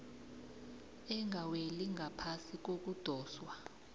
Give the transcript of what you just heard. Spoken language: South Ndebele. engaweli ngaphasi kokudoswa